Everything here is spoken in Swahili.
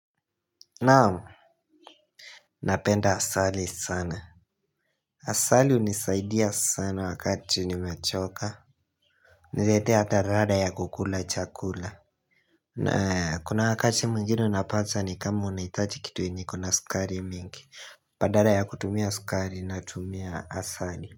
Naam, napenda asali sana. Asali hunisaidia sana wakati nimachoka. Huniretea hata rada ya kukula chakula. Kuna wakati mwingine unapata ni kama unaitaji kitu yenye iko na sukari mingi. Badara ya kutumia sukari natumia asali.